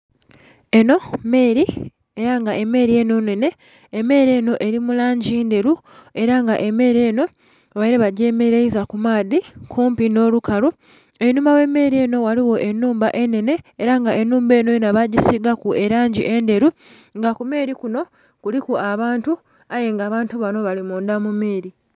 Enho meeli era nga emeeli enho nnhene, emeeli enho eri mu langi ndheru era nga emeeli enho babeire ba gye meleiza ku maadhi kumpi nho lukalu. einhuma ghe meeli enho ghaligho enhumba enhene era nga enhumba enho yona bagisigaku elangi endheru nga ku meeli kunho kuliku abantu aye nga abantu banho bali mundha mu meeli.